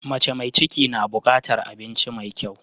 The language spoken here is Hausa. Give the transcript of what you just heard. Mace mai ciki na bukatar abinci mai kyau.